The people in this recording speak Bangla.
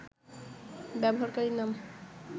ব্যবহারকারীর নাম